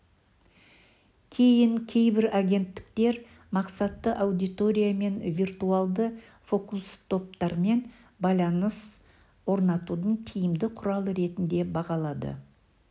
кейін кейбір агенттіктер мақсатты аудиториямен виртуалды фокус-топтармен байланыс орнатудың тиімді құралы ретінде бағалады